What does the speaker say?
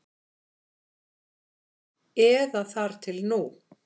Eða þar til nú.